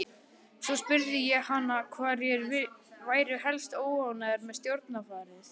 Svo spurði ég hana hverjir væru helst óánægðir með stjórnarfarið.